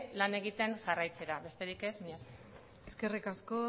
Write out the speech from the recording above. lan egiten jarraitzera besterik ez mila esker eskerrik asko